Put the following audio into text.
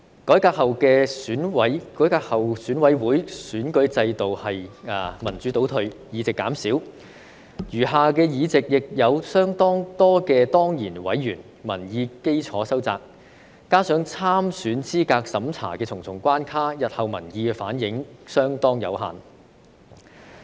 改革後的選委會選舉制度是民主倒退，議席減少，餘下議席亦有相當多的當然委員，民意基礎收窄，加上對參選資格審查的重重關卡，日後民意反映相當有限。